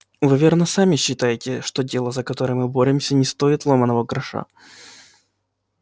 вы верно сами считаете что дело за которое мы боремся не стоит ломаного гроша